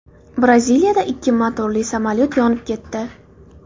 Braziliyada ikki motorli samolyot yonib ketdi.